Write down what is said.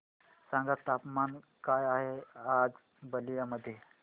सांगा तापमान काय आहे आज बलिया मध्ये